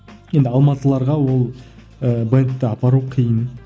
енді алматыларға ол ы бэндті апару қиын